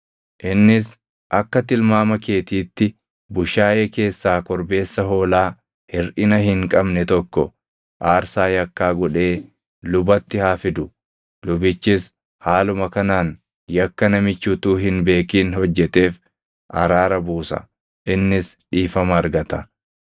Innis akka tilmaama keetiitti bushaayee keessaa korbeessa hoolaa hirʼina hin qabne tokko aarsaa yakkaa godhee lubatti haa fidu. Lubichis haaluma kanaan yakka namichi utuu hin beekin hojjeteef araara buusa; innis dhiifama argata.